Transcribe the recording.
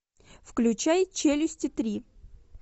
включай челюсти три